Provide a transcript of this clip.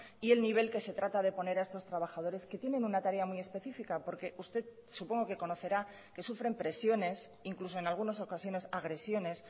y el nivel que se trata de poner a estos trabajadores que tienen una tarea muy específica porque usted supongo que conocerá que sufren presiones incluso en algunas ocasiones agresiones